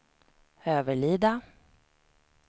Överlida